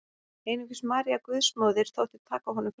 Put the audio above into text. Einungis María Guðsmóðir þótti taka honum fram.